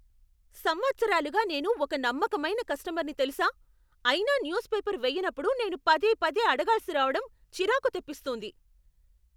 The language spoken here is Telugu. సంవత్సరాలుగా నేను ఒక నమ్మకమైన కస్టమర్ని తెలుసా! అయినా న్యూస్పేపర్ వేయనప్పుడు నేను పదేపదే అడగాల్సిరావడం చిరాకు తెప్పిస్తూంది.